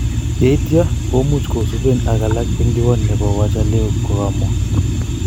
yeitya komuch kosupen ak alak eng diwani nepo waja-leo�, kogamwa